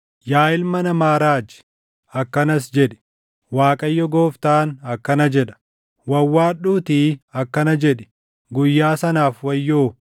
“Yaa ilma namaa raaji; akkanas jedhi; ‘ Waaqayyo Gooftaan akkana jedha: “ ‘Wawwaadhuutii akkana jedhi; “Guyyaa sanaaf wayyoo!”